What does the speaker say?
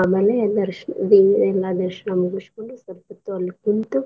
ಆಮೇಲೆ ಮುಗಸ್ಕೋಂಡು ದರ್~ ದೇವ್ರ ಎಲ್ಲಾ ದರ್ಶನ ಮುಗಸ್ಕೋಂಡು ಸ್ವಲ್ಪ ಹೊತ್ತು ಅಲ್ ಕುಂತು.